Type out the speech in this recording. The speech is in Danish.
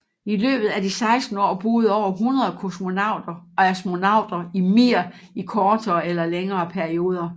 I løbet af de 16 år boede over 100 kosmonauter og astronauter i Mir i kortere eller længere perioder